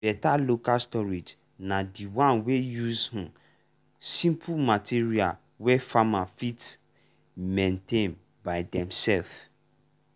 better local storage na the one wey use um simple material wey farmer fit maintain by demself.